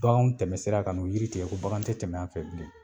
BaKanw tɛmɛsira ka n'o yiri tigɛ ko bakan te tɛmɛ a fɛ bilen.